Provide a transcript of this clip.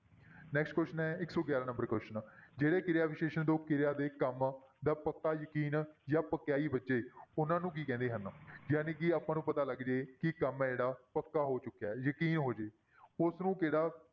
Next question ਹੈ ਇੱਕ ਸੌ ਗਿਆਰਾਂ number question ਜਿਹੜੇ ਕਿਰਿਆ ਵਿਸ਼ੇਸ਼ਣ ਤੋਂ ਕਿਰਿਆ ਦੇ ਕੰਮ ਦਾ ਪੱਕਾ ਯਕੀਨ ਜਾਂ ਪਕਿਆਈ ਬੱਝੇ ਉਹਨਾਂ ਨੂੰ ਕੀ ਕਹਿੰਦੇ ਹਨ ਜਾਣੀ ਕਿ ਆਪਾਂ ਨੂੰ ਪਤਾ ਲੱਗ ਜਾਏ ਕਿ ਕੰਮ ਹੈ ਜਿਹੜਾ ਪੱਕਾ ਹੋ ਚੁੱਕਿਆ ਹੈ ਯਕੀਨ ਹੋ ਜਾਏ ਉਸਨੂੰ